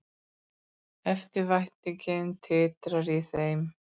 Eftirvæntingin titrar í þeim.